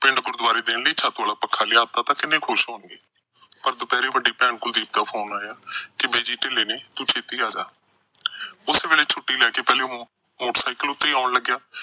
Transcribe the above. ਗੁਰਦੁਆਰੇ ਦੇਣ ਲਈ ਛੱਤ ਆਲਾ ਪੱਖਾ ਲਿਆਤਾ ਤਾਂ ਕਿੰਨੇ ਖੁਸ਼ ਹੋਣਗੇ। ਪਰ ਦੁਪਹਿਰੇ ਵੱਡੀ ਭੈਣ ਦਾ phone ਆਇਆ ਕਿ ਬਿਜੀ ਢਿੱਲੇ ਨੇ, ਤੂੰ ਛੇਤੀ ਆ ਜਾ। ਉਸ ਵੇਲੇ ਛੁੱਟੀ ਲੈ ਕੇ ਪਹਿਲਾ motorcycle ਤੇ ਆਉਣ ਲੱਗਿਆ।